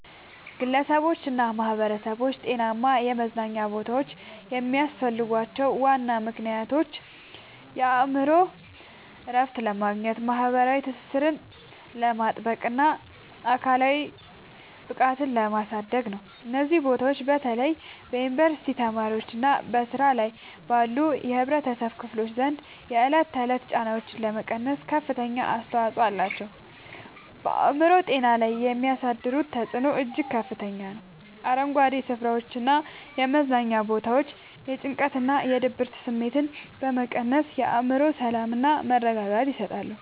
ግለሰቦችና ማኅበረሰቦች ጤናማ የመዝናኛ ቦታዎች የሚያስፈልጓቸው ዋና ምክንያቶች የአእምሮ እረፍት ለማግኘት፣ ማኅበራዊ ትስስርን ለማጥበቅና አካላዊ ብቃትን ለማሳደግ ነው። እነዚህ ቦታዎች በተለይ በዩኒቨርሲቲ ተማሪዎችና በሥራ ላይ ባሉ የኅብረተሰብ ክፍሎች ዘንድ የዕለት ተዕለት ጫናዎችን ለመቀነስ ከፍተኛ አስተዋጽኦ አላቸው። በአእምሮ ጤና ላይ የሚያሳድሩት ተጽዕኖ እጅግ ከፍተኛ ነው፤ አረንጓዴ ስፍራዎችና የመዝናኛ ቦታዎች የጭንቀትና የድብርት ስሜትን በመቀነስ የአእምሮ ሰላምና መረጋጋትን ይሰጣሉ።